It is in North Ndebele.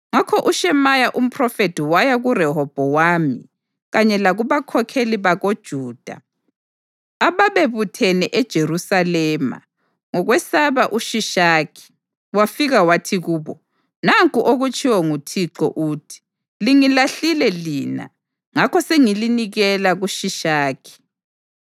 Ngakho uShemaya umphrofethi waya kuRehobhowami kanye lakubakhokheli bakoJuda ababebuthene eJerusalema ngokwesaba uShishakhi, wafika wathi kubo, “Nanku okutshiwo nguThixo uthi, ‘Lingilahlile lina; ngakho sengilinikela kuShishaki.’ ”